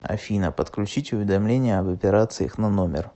афина подключить уведомление об операциях на номер